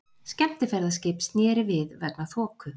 Skemmtiferðaskip snéri við vegna þoku